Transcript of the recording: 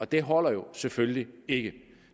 det holder jo selvfølgelig ikke